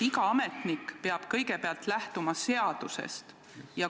Iga ametnik peab kõigepealt lähtuma seadusest.